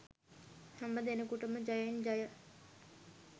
හැමදෙනෙකුටම ජයෙන් ජය